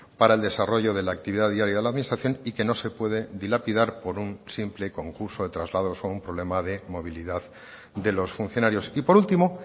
para el desarrollo de la actividad diaria de la administración y que no se puede dilapidar por un simple concurso de traslados o un problema de movilidad de los funcionarios y por último